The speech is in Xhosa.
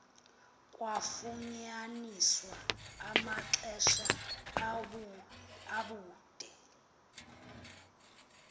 kwafunyaniswa amanxeba abude